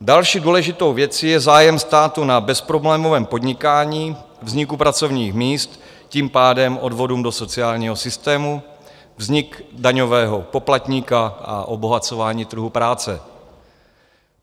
Další důležitou věcí je zájem státu na bezproblémovém podnikání, vzniku pracovních míst, tím pádem odvodům do sociálního systému, vznik daňového poplatníka a obohacování trhu práce.